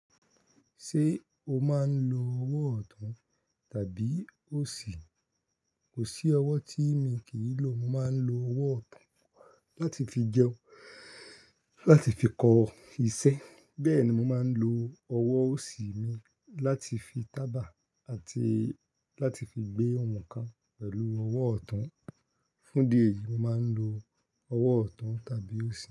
Ṣé o máa ń lo ọwọ́ ọ̀tún tàbí òsì? Kò sí ọwọ́ tí mi kì í lò. Mo máa ń lo ọwọ́ ọ̀tún láti fi jẹun, láti fi kọ iṣẹ́. Bẹ́ẹ̀ ni mo máa ń lo ọwọ́ òsì mi láti fi tàbà àti láti fi gbé ohun kan pẹ̀lú ọwọ́ ọ̀tún. Fún ìdí èyí, mo máa ń lo ọwọ́ ọ̀tún tàbí òsì.